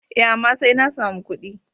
E, amma sai na samu ƙuɗi.